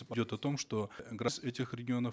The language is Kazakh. идет о том что этих регионов